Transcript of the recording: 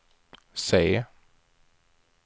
se